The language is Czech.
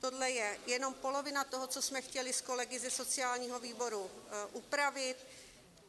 Toto je jenom polovina toho, co jsme chtěli s kolegy ze sociálního výboru upravit.